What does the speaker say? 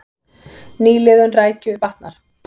Nýliðun rækju batnar